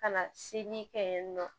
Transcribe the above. Ka na se ni kɛ yen nɔ